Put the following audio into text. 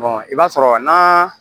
i b'a sɔrɔ n'a